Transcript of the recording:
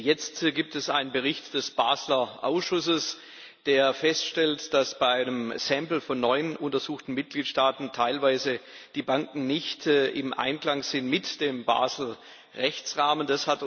Jetzt gibt es einen Bericht des Basler Ausschusses, der feststellt, dass bei einem Sample von neun untersuchten Mitgliedstaaten teilweise die Banken nicht im Einklang sind mit dem Basel Rechtsrahmen.